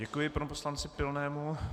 Děkuji panu poslanci Pilnému.